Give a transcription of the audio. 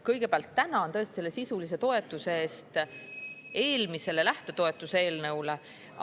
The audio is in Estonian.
Kõigepealt tänan tõesti sisulise toetuse eest eelmisele lähtetoetuse eelnõule.